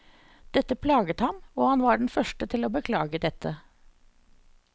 Dette plaget ham, og han var den første til å beklage dette.